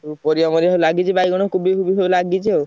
ଉଁ ପରିବା ମରିବା ସବୁ ଲାଗିଚି ବାଇଗଣ, କୋବିଫୋବି ସବୁ ଲାଗିଚି ଆଉ।